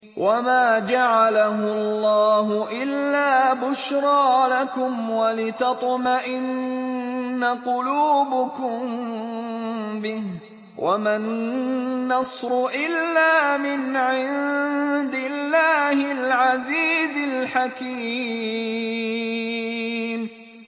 وَمَا جَعَلَهُ اللَّهُ إِلَّا بُشْرَىٰ لَكُمْ وَلِتَطْمَئِنَّ قُلُوبُكُم بِهِ ۗ وَمَا النَّصْرُ إِلَّا مِنْ عِندِ اللَّهِ الْعَزِيزِ الْحَكِيمِ